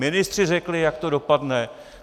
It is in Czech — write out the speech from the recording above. Ministři řekli, jak to dopadne.